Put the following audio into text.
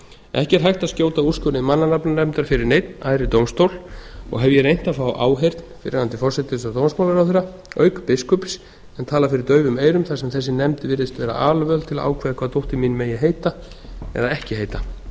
ekki er hægt að skjóta úrskurði mannanafnanefndar fyrir neinn æðri dómstól og hef ég reynt að fá áheyrn fyrrverandi forsætis og dómsmálaráðherra auk biskups en talað fyrir daufum eyrum þar sem þessi nefnd virðist vera alvöld til að ákveða hvað dóttir mín megi heita eða ekki heita